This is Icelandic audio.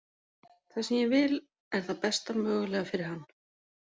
Það sem ég vil er það besta mögulega fyrir hann.